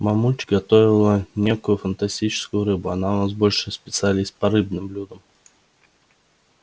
мамульчик готовила некую фантастическую рыбу она у нас большой специалист по рыбным блюдам